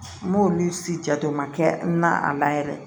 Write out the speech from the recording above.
N b'olu si jate o ma kɛ n na a la yɛrɛ